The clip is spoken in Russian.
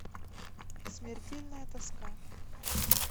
смертельная тоска